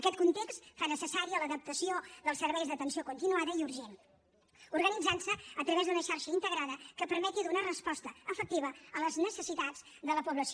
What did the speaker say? aquest context fa necessària l’adaptació del serveis d’atenció continuada i urgent organitzant se a través d’una xarxa integrada que permeti donar resposta efectiva a les necessitats de la població